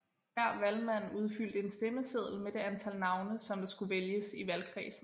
Hver valgmand udfyldte en stemmeseddel med det antal navne som der skulle vælges i valgkredsen